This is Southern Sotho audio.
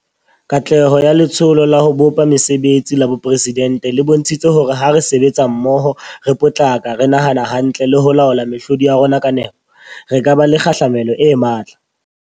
Katleho ya Letsholo la ho bopa Mesebetsi la Boporesi dente le bontshitse hore ha re sebetsa mmoho, re potlaka, re nahana hantle le ho laola mehlodi ya rona ka nepo, re ka ba le kgahlamelo e matla.